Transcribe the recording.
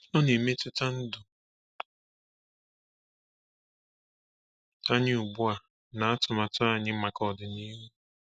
Ọ na-emetụta ndụ anyị ugbu a na atụmanya anyị maka ọdịnihu.